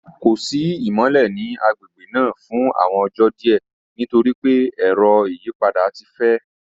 Ko si imọlẹ ni agbegbe naa fun awọn ọjọ diẹ nitori pe ẹrọ iyipada ti fẹ.